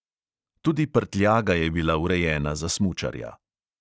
Tudi prtljaga je bila urejena za smučarja.